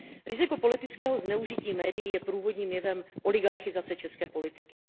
Riziko politického zneužití médií je průvodním jevem oligarchizace české politiky.